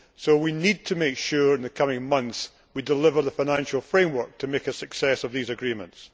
So we need to make sure, in the coming months, that we deliver the financial framework to make a success of these agreements.